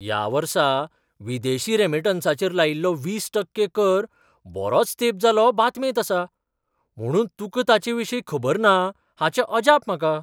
ह्या वर्सा विदेशी रेमिटन्सांचेर लायिल्लो वीस टक्के कर बरोच तेंप जालो बातमेंत आसा, म्हुणून तुकां ताचे विशीं खबर ना हाचें अजाप म्हाका.